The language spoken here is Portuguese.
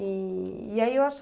E e aí eu